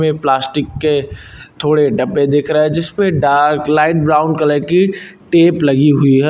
Plastic के थोड़े डब्बे दिख रहे जिसपे डार्क लाइट ब्राउन कलर की टेप लगी हुई है।